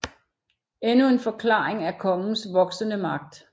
Endnu en forklaring er kongens voksende magt